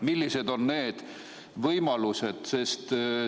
Millised on need võimalused?